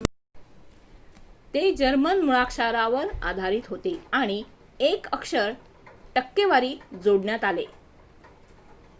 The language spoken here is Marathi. "ते जर्मन मुळाक्षरावर आधारित होते आणि 1 अक्षर "õ/õ" जोडण्यात आले.